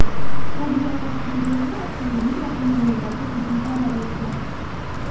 Tabiiy ofat natijasida avtomobil va temiryo‘llarga jiddiy zarar yetgan.